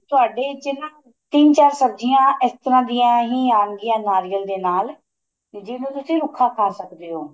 ਤੁਹਾਡੇ ਚ ਨਾ ਤਿਨੰ ਚਾਰ ਸਬਜੀਆਂ ਇਸ ਤਰ੍ਹਾਂ ਦੀਆਂ ਹੀ ਆਣ ਗਿਆਂ ਨਾਰੀਅਲ ਦੇ ਨਾਲ ਜਿੰਨੂ ਤੁਸੀਂ ਰੁੱਖਾ ਖਾ ਸਕਦੇ ਓ